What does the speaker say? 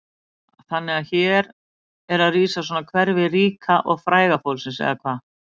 Lára: Þannig að hér er rísa svona hverfi ríka og fræga fólksins eða hvað?